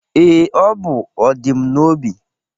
Ee, o bụ ọdịm n'obi